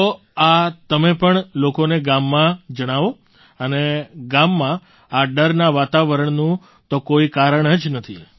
તો આ તમે પણ લોકોને ગામમાં જણાવો અને ગામમાં આ ડરના વાતાવરણનું તો કોઈ કારણ જ નથી